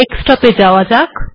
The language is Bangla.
ডেস্কটপ এ আসা যাক